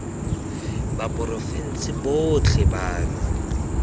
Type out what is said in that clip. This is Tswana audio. ba porofense botlhe ba na